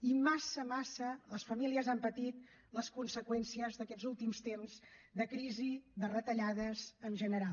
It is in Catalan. i massa massa les famílies han patit les conseqüències d’aquests últims temps de crisi de retallades en general